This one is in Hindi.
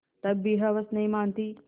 तब भी हवस नहीं मानती